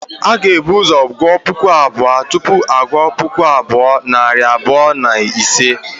A ga-ebu ụzọ gụọ puku abụọ, tupu a gụọ puku abụọ, nari abụọ na isii